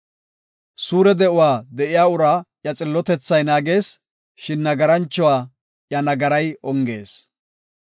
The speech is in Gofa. Suure de7uwa de7iya uraa iya xillotethay naagees; shin nagarancho iya nagaray ongees.